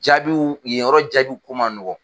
Jabiw yen yɔrɔ jabiw ko man nɔgɔn.